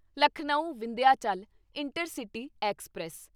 Lucknow Vindhyachal intercity express